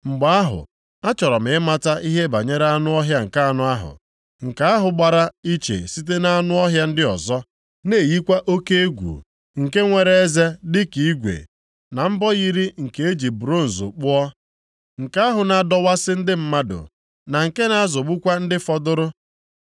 “Mgbe ahụ, achọrọ m ịmata ihe banyere anụ ọhịa nke anọ ahụ, nke ahụ gbara iche site nʼanụ ọhịa ndị ọzọ, na-eyikwa oke egwu, nke nwere eze dịka igwe, na mbọ yiri nke e ji bronz kpụọ. Nke ahụ na-adọwasị ndị mmadụ, na nke na-azọgbukwa ndị fọdụrụ.